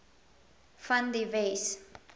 van die wes